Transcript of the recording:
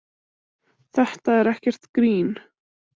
Þetta er ekkert grín.